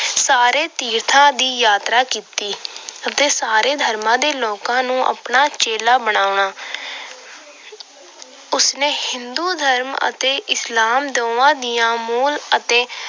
ਸਾਰੇ ਤੀਰਥਾਂ ਦੀ ਯਾਤਰਾ ਕੀਤੀ ਅਤੇ ਸਾਰੇ ਧਰਮਾਂ ਦੇ ਲੋਕਾਂ ਨੂੰ ਆਪਣਾ ਚੇਲਾ ਬਣਾਉਣਾ। ਉਸ ਨੇ ਹਿੰਦੂ ਧਰਮ ਅਤੇ ਇਸਲਾਮ ਦੋਹਾਂ ਦੀਆਂ ਮੋਲ ਅਤੇ